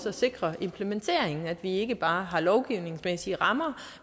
at sikre implementeringen at vi ikke bare har de lovgivningsmæssige rammer